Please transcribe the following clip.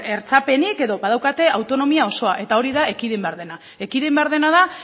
hertsapenik edo daukate autonomia osoa eta hori da ekidin behar dena ekidin behar dena da